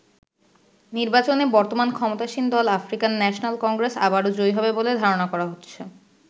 নির্বাচনে বর্তমান ক্ষমতাসীন দল আফ্রিকান ন্যাশনাল কংগ্রেস আবারো জয়ী হবে বলে ধারনা করা হচ্ছে।